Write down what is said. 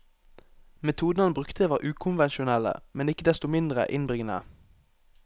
Metodene han brukte var ukonvensjonelle, men ikke desto mindre innbringende.